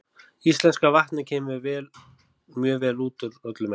Íslenska vatnið kemur mjög vel út úr öllum mælingum.